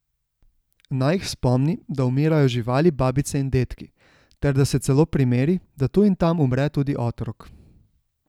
Naj jih spomni, da umirajo živali, babice in dedki, ter da se celo primeri, da tu in tam umre tudi otrok.